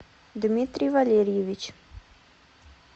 дмитрий валерьевич